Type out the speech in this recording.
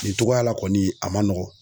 Nin cogoya la kɔni, a ma nɔgɔ.